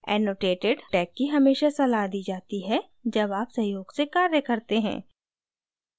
annotated tag की हमेशा सलाह दी जाती है जब आप सहयोग से कार्य करते हैं